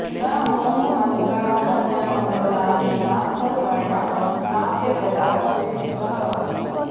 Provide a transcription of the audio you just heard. न होममन्त्रा न च मङ्गलानि नाथर्वणा नाप्यगदाः सुसिद्धाः